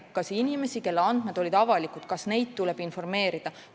Näiteks, kas inimesi, kelle andmed olid avalikud, tuleb informeerida?